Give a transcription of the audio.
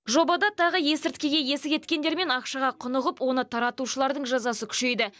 жобада тағы есірткіге есі кеткендер мен ақшаға құнығып оны таратушылардың жазасы күшейді